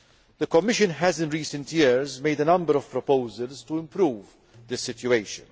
The Commission has in recent years made a number of proposals to improve the situation.